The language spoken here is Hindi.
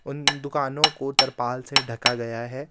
उन दुकानों को तरपाल से ढका गया है.